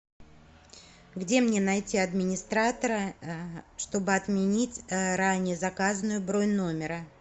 где мне найти администратора чтобы отменить ранее заказанную бронь номера